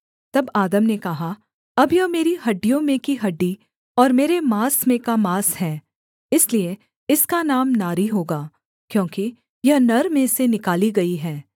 तब आदम ने कहा अब यह मेरी हड्डियों में की हड्डी और मेरे माँस में का माँस है इसलिए इसका नाम नारी होगा क्योंकि यह नर में से निकाली गई है